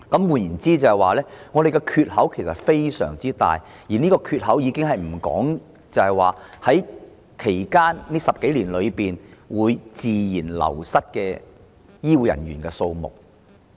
換言之，我們的缺口非常大，而這尚未計算未來10多年間自然流失的醫護人員數目。